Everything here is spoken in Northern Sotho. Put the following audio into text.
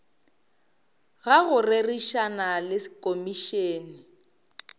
ga go rerišana le komišene